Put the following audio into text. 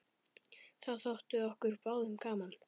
Það þótti okkur báðum gaman.